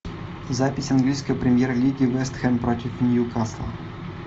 запись английской премьер лиги вест хэм против ньюкасл